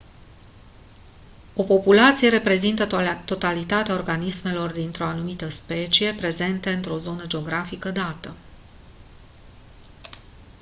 o populație reprezintă totalitatea organismelor dintr-o anumită specie prezente într-o zonă geografică dată